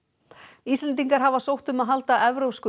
Íslendingar hafa sótt um að halda evrópsku